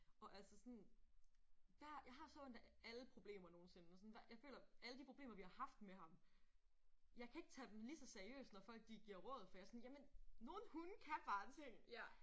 Og altså sådan der jeg har så ondt af alle problemer nogensinde og sådan der jeg føler alle de problemer vi har haft med ham jeg kan ikke tage dem lige så seriøst når folk de giver råd for jeg er sådan jamen nogle hunde kan bare ting